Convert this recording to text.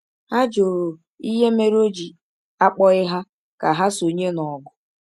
Ha jụrụ ihe mere o ji akpọghị ha ka ha sonye n’ọgụ.